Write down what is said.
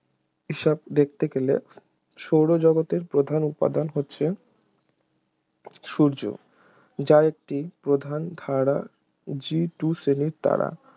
হিসাব দেখতে গেলে সৌর জগতের প্রধান উপাদান হচ্ছে সূর্য যার একটি প্রধান ধারার G two শ্রেণীর তারা